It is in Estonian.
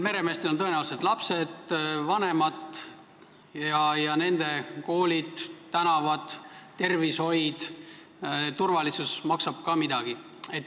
Meremeestel on tõenäoliselt lapsed ja vanemad ning nende koolid, tänavad, tervishoid ja turvalisus maksavad ka midagi.